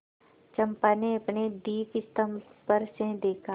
चंपा ने अपने दीपस्तंभ पर से देखा